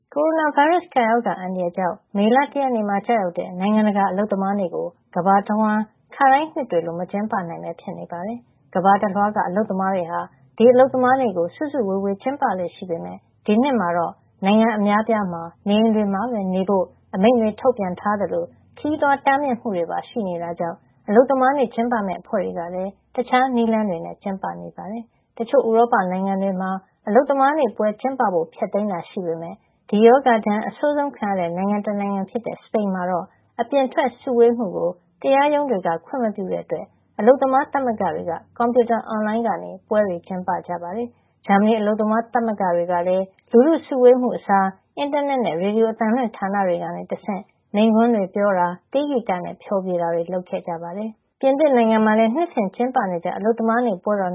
ကိုရိုနာဗိုင်းရပ်စ် ကပ်ရောဂါ အန္တရာယ်ကြောင့် မေလ တရက်နေ့မှာ ကျရောက်တဲ့ နိုင်ငံတကာ အလုပ်သမားနေ့ ကို ကမ္ဘာတဝန်း ခါတိုင်းနှစ်တွေလို မကျင်းပနိုင်ပဲ ဖြစ်နေပါတယ်။ ကမ္ဘာတလွှားက အလုပ်သမားတွေဟာ ဒီအလုပ်သမားနေ့ကို စုစုဝေးဝေး ကျင်းပလေ့ရှိပေမယ့် ဒီနှစ် မှာတော့ နိုင်ငံအများအပြားမှာ နေအိမ်တွေမှာပဲ နေဖို့ အမိန့်ထုတ်ပြန်ထားသလို ခရီးသွားတားမြစ်မှုတွေပါ ရှိနေတာကြောင့် အလုပ်သမားနေ့ ကျင်းပမယ့် အဖွဲ့တွေက တခြားနည်းလမ်းတွေနဲ့ ကျင်းပကြပါတယ်။ တချို့ ဥရောပ နိုင်ငံတွေမှာ အလုပ်သမားနေ့ ပွဲ ကျင်းပဖို့ ဖျက်သိမ်းခဲ့ပေမယ့် ဒီရောဂါဒဏ် အဆိုးဆုံး ခံခဲ့ရတဲ့ နိုင်ငံ တနိုင်ငံ ဖြစ်တဲ့ စပိန်ှမှာတော့ အပြင်ထွက် စုဝေးမှုကို တရားရုံး တွေက ခွင့်မပြုကြတဲ့ အတွက် အလုပ်သမားသမဂ္ဂတွေက ကွန်ပြူတာ အွန်လိုင်းကနေ ပွဲတွေ ကျင်းပကြပါတယ်။ ဂျာမဏီ အလုပ်သမားသမဂ္ဂ တွေကလည်း လူထု စုဝေးမှုတွေ အစား အင်တာနက်နဲ့ ရေဒီယိုအသံလွှင့် ဌာန တွေကနေ တဆင့် မိန့်ခွန်းတွေ ပြောတာ၊ တေးဂီတနဲ့ ဖျော်ဖြေတာတွေ လုပ်ခဲ့ကြပါတယ်။ ပြင်သစ်နိုင်ငံမှာလည်း နှစ်စဉ် ကျင်းပနေကျ အလုပ်သမားနေ့ ပွဲတော်